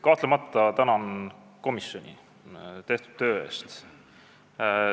Kahtlemata tänan ma komisjoni tehtud töö eest.